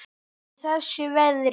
Í þessu veðri?